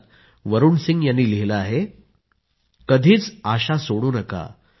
however if you don't do not think that you are meant to be mediocre